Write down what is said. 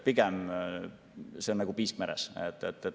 Pigem see on nagu piisk meres.